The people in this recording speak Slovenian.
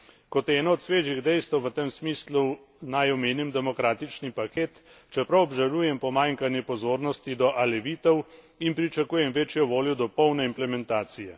Kot eno od svežih dejstev v tem smislu naj omenim demokratični paket, čeprav obžalujem pomanjkanje pozornosti do alevitov in pričakujem večjo voljo do polne implementacije.